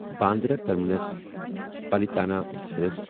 Bandra Terminus Palitana express